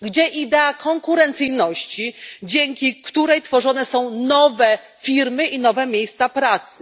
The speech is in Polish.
Gdzie idea konkurencyjności, dzięki której tworzone są nowe firmy i nowe miejsca pracy?